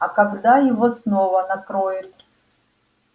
а когда его снова накроет